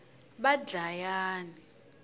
vadlayani